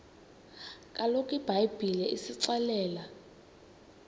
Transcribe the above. kaloku ibhayibhile isixelela